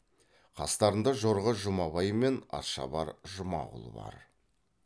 қастарында жорға жұмабай мен атшабар жұмағұл бар